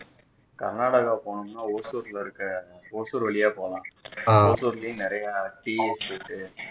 கர்நாடகா போனா ஓசூரில் இருக்க ஓசூர் வழியா போவேன் ஓசூர்லயே நிறைய tea estate இருக்கு